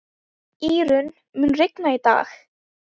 Írunn, mun rigna í dag?